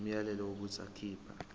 umyalelo wokuthi akhipha